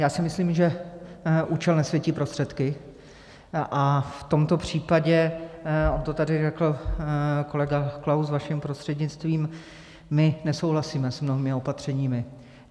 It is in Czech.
Já si myslím, že účel nesvětí prostředky a v tomto případě, on to tady řekl kolega Klaus vaším prostřednictvím, my nesouhlasíme s mnohými opatřeními.